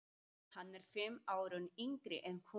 Hann er fimm árum yngri en hún.